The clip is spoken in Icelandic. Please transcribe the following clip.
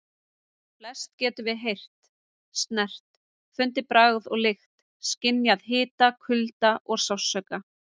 Flest getum við heyrt, snert, fundið bragð og lykt, skynjað hita, kulda og sársauka.